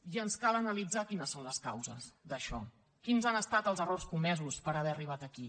i ens cal analitzar quines són les causes d’això quins han estat els errors comesos per haver arribat aquí